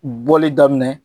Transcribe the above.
Bɔli daminɛ,